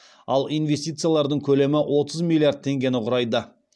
ал инвестициялардың көлемі отыз миллиард теңгені құрайды